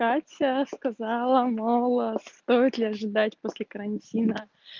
катя сказала мало стоит ли ожидать после карантина